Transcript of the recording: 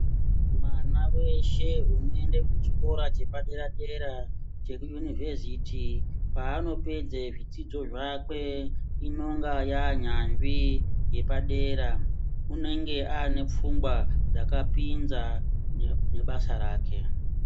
Mwana weshe unoenda kuchikora chepadera dera chekuyunivheziti paanopedza zvidzidzo zvakwe inonga yaanyanzvi yepadera. Unenge ane pfungwa dzakapinza nebasa rake.